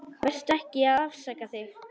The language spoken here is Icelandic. Vertu ekki að afsaka þig.